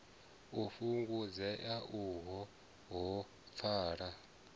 u fhungudzea uho ha pfala